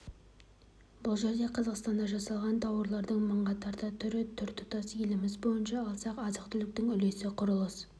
бұл жерде қазақстанда жасалған тауарлардың мыңға тарта түрі тұр тұтас еліміз бойынша алсақ азық-түліктің үлесі құрылыс